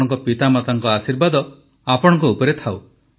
ଆପଣଙ୍କ ପିତାମାତାଙ୍କ ଆଶୀର୍ବାଦ ଆପଣଙ୍କ ଉପରେ ଥାଉ